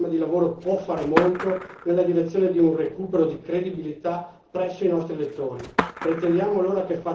La Commissione, con il suo programma di lavoro, può fare molto nella direzione di un recupero di credibilità presso i nostri elettori